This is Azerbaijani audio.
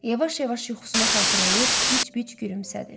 Yavaş-yavaş yuxusunu xatırlayıb bic-bic gülümsədi.